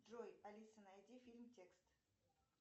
джой алиса найди фильм текст